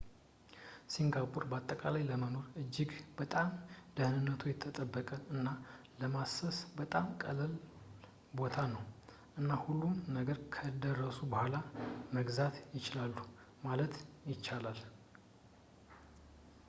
ሲንጋፖር በአጠቃላይ ለመኖር እጅግ በጣም ደህንነቱ የተጠበቀ እና ለማሰስ በጣም ቀላል ቦታ ነው እና ሁሉንም ነገር ከደረሱ በኋላ መግዛት ይችላሉ ማለት ይቻላል